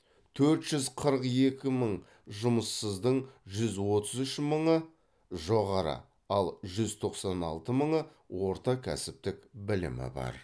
төрт жүз қырық екі мың жұмыссыздың жүз отыз үш мыңы жоғары ал жүз тоқсан алты мыңы орта кәсіптік білімі бар